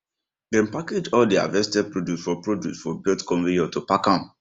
dem package all dey harvested produce for produce for belt conveyor to pack am